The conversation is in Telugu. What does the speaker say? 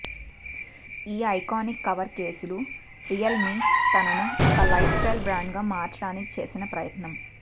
ఈ ఐకానిక్ కవర్ కేసులు రియల్మే తనను ఒక లైఫ్ స్టైల్ బ్రాండ్ గా మార్చడానికి చేసిన ప్రయత్నం